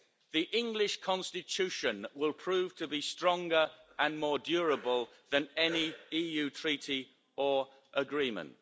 The English constitution will prove to be stronger and more durable than any EU treaty or agreement.